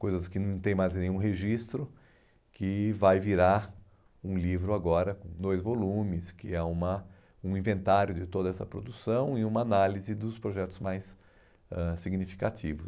coisas que não tem mais nenhum registro, que vai virar um livro agora com dois volumes, que é uma um inventário de toda essa produção e uma análise dos projetos mais ãh significativos.